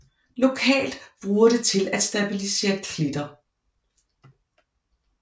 Lokalt bruger det til at stabilisere klitter